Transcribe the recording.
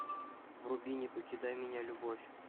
вруби не покидай меня любовь